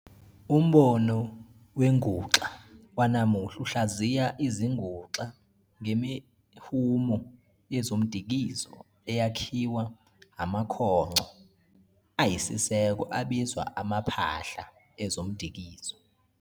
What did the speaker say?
Umbono wenguxa wanamuhla uhlaziya izinguxa ngemihumo yezomdikizo eyakhiwa amakhongco ayisiseko abizwa amaphahla ezomdikizo.